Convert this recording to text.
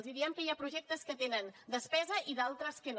els diem que hi ha projectes que tenen despesa i d’altres que no